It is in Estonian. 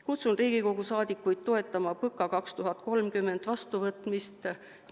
Kutsun Riigikogu liikmeid toetama PõKa 2030 vastuvõtmist!